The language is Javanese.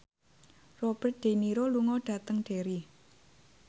Robert de Niro lunga dhateng Derry